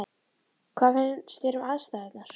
Hvað fannst þér um aðstæðurnar?